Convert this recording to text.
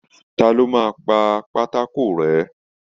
Ta ló máa pà pátákó rẹ́?